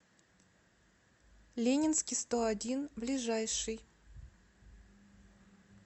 ленинский сто один ближайший